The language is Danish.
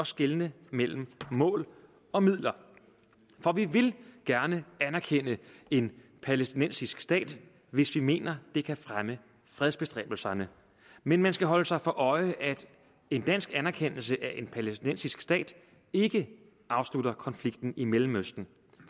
skelne mellem mål og midler for vi vil gerne anerkende en palæstinensisk stat hvis vi mener at det kan fremme fredsbestræbelserne men man skal holde sig for øje at en dansk anerkendelse af en palæstinensisk stat ikke afslutter konflikten i mellemøsten